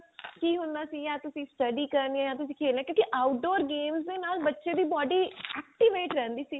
ਕੀ ਹੁੰਦਾ ਸੀ ਤੁਸੀਂ study ਕਰਨੀ ਆ ਤੁਸੀਂ ਖੇਲਣਾ ਕਿਉਂਕਿ outdoor games ਦੇ ਨਾਲ ਬੱਚੇ ਦੀ body activate ਰਿਹੰਦੀ ਸੀ